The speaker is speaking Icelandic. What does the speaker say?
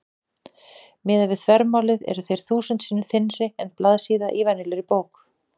Miðað við þvermálið eru þeir þúsund sinnum þynnri en blaðsíða í venjulegri bók.